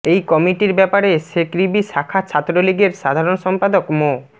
এই কমিটির ব্যাপারে শেকৃবি শাখা ছাত্রলীগের সাধারণ সম্পাদক মো